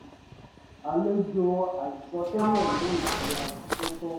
àlejò àìsọ tẹ́lẹ̀ mú ìtura tó tó